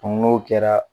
n'o kɛra